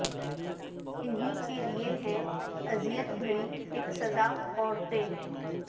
انہی کے لیے ہیں اذیت بھری اک سزا عورتیں